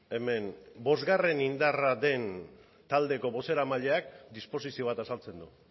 hemen bosgarren indarra den taldeko bozeramaileak disposizio bat azaltzen du